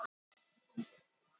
Ekkert var bókað að fundi loknum